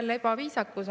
Taas ebaviisakus.